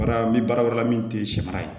Wala n bɛ baara wɛrɛ la min tɛ sɛ mara ye